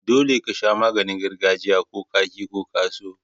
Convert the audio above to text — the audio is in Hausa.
Dolle ka sha maganin gargajiya, ko ka ki ko ka so.